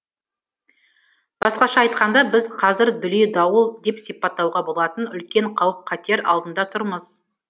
басқаша айтқанда біз қазір дүлей дауыл деп сипаттауға болатын үлкен қауіп қатер алдында тұрмыз